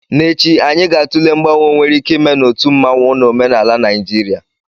N'echi, anyị ga-atụle mgbanwe nwere ike ime na otu mmanwu na omenala Naijiria.